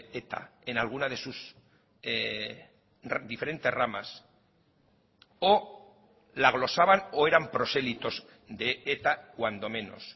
eta en alguna de sus diferentes ramas o la glosaban o eran prosélitos de eta cuando menos